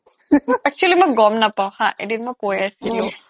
actually মই গম নাপাওঁ হা এদিন মই কৈ আছিলো